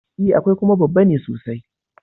E, akwai, kuma babba ne sosai.